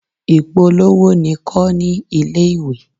Ìpolówó ni kọ́ ní ilé-ìwé.